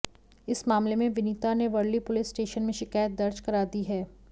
इस मामले में विनीता ने वर्ली पुलिस स्टेशन में शिकायत दर्ज करा दी है